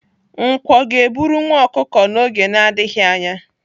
Nkwọ ga-eburu nwa ọkụkụ n'oge na-adịghị anya.